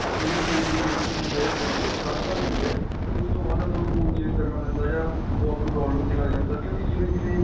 ਕੋਈ ਵੀ phone ਦੀ limit ਹੁੰਦੀ ਏ ਚਾਰ ਸਾਲ ਹੁੰਦੀ ਏ ਉਸ ਤੋਂ ਬਾਅਦ ਆਪਾਂ ਨੂੰ phone change ਕਰਨਾ ਪੈਂਦਾ ਜਾਂ ਉਹ ਆਪਾਂ ਨੂੰ problem ਦੇਣ ਲੱਗ ਜਾਂਦਾ ਕਿਉਂਕਿ ਜਿਵੇਂ ਜਿਵੇਂ